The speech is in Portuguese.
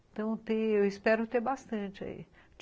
Então, eu espero ter bastante aí.